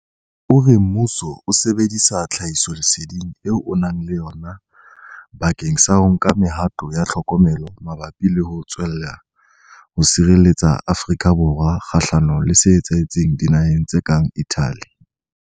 O re mmuso o sebedisa tlhahisoleseding eo o nang le yona bakeng sa ho nka mehato ya tlhokomelo mabapi le ho tswella ho sireletsa Afrika Borwa kgahlanong le se etsahetseng dinaheng tse kang Italy.